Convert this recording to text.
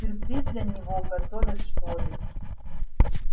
сюрприз для него готовят что ли